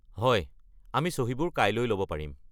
হয়, আমি চহীবোৰ কাইলৈ ল'ব পাৰিম।